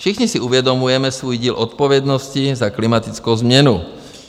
Všichni si uvědomujeme svůj díl odpovědnosti za klimatickou změnu.